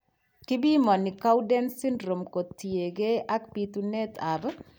Kibimoni Cowden syndrome kotien gee ak bitunet ab